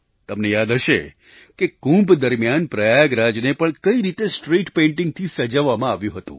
તમને યાદ હશે કે કુંભ દરમિયાન પ્રયાગરાજને પણ કઈ રીતે સ્ટ્રીટ પેઇન્ટિંગથી સજાવવામાં આવ્યું હતું